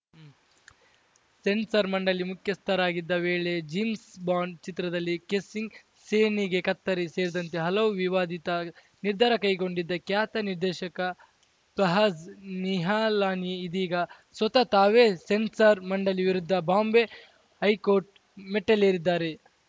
ಸೆನ್ಸಾರ ಮಂಡಳಿ ಮುಖ್ಯಸ್ಥರಾಗಿದ್ದ ವೇಳೆ ಜೇಮ್ಸ್‌ಬಾಂಡ್‌ ಚಿತ್ರದಲ್ಲಿ ಕಿಸ್ಸಿಂಗ್‌ ಸೀನ್‌ಗೆ ಕತ್ತರಿ ಸೇರಿದಂತೆ ಹಲವು ವಿವಾದಿತ ನಿರ್ಧಾರ ಕೈಗೊಂಡಿದ್ದ ಖ್ಯಾತ ನಿರ್ದೇಶಕ ಪಹ್ಲಾಜ್‌ ನಿಹಲಾನಿ ಇದೀಗ ಸ್ವತಃ ತಾವೇ ಸೆನ್ಸಾರ್‌ ಮಂಡಳಿ ವಿರುದ್ಧ ಬಾಂಬೆ ಹೈಕೋರ್ಟ್‌ ಮೆಟ್ಟಿಲೇರಿದ್ದಾರೆ